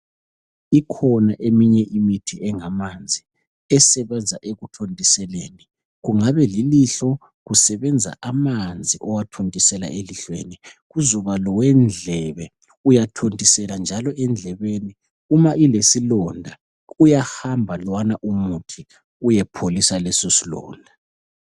Ikhona eminye imithi engamanzi esebenza ekuthontiseleni .Kungabe lilihlo kusebenza amanzi owathontisela elihlweni . Kuzoba lowe ndlebe ,uyathontisela njalo endlebeni . Uma ilesilonda uyahamba lowana umuthi uyepholisa leso silonda .